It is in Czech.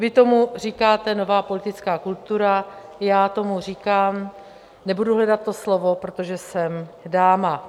Vy tomu říkáte nová politická kultura, já tomu říkám - nebudu hledat to slovo, protože jsem dáma.